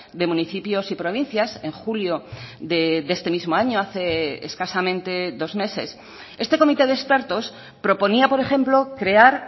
de municipios y provincias en julio de este mismo año hace escasamente dos meses este comité de expertos proponía por ejemplo crear